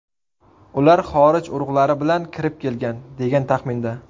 Ular xorij urug‘lari bilan kirib kelgan, degan taxminda.